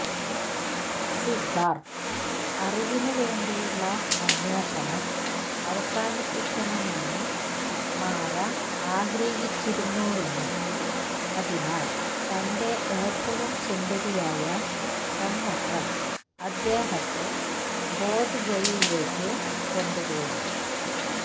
സിദ്ധാർത്ഥ് അറിവിനുവേണ്ടിയുള്ള അന്വേഷണം അവസാനിപ്പിക്കണമെന്ന് മാരാ ആഗ്രഹിച്ചിരുന്നുവെന്നും അതിനാൽ തന്റെ ഏറ്റവും സുന്ദരിയായ പെൺമക്കൾ അദ്ദേഹത്തെ ബോധ് ഗയയിലേക്ക് കൊണ്ടുപോയി